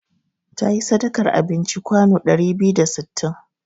Ta yi sadakar abinci kwano ɗari biyu da sittin.